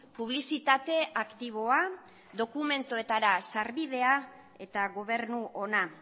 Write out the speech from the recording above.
publizitate aktiboa dokumentuetara sarbidea eta gobernu ona